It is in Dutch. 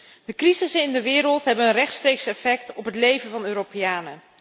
De crises in de wereld hebben een rechtstreeks effect op het leven van de Europeanen.